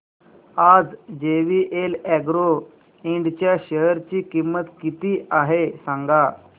आज जेवीएल अॅग्रो इंड च्या शेअर ची किंमत किती आहे सांगा